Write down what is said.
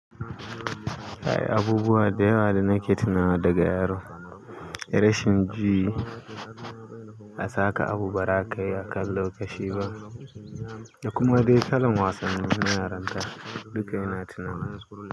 Ai abubuwa da yawa da nake tunawa daga yaro, rashin ji a saka abu ba za kayi a kan lokaci ba da kuma dai talon wasanni na yaranta duka ina tunaninsu.